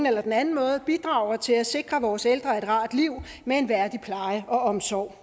eller den anden måde bidrager til at sikre vores ældre et rart liv med en værdig pleje og omsorg